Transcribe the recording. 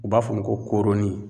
U b'a f'o ma ko kooroni.